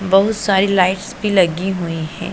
बहुत सारी लाइट्स भी लगी हुई है।